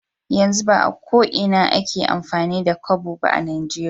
Yanzu ba ko Ina ake amfani da Kobo ba a nijeria